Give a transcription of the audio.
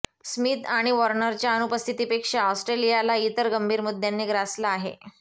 Smith आणि वॉर्नरच्या अनुपस्थितीपेक्षा ऑस्ट्रेलियाला इतर गंभीर मुद्द्यांनी ग्रासलं आहे